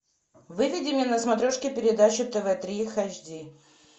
выведи мне на смотрешке передачу тв три хэч ди